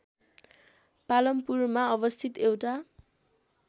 पालमपुरमा अवस्थित एउटा